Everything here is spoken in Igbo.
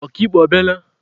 Ọka ikpe ọ bịala?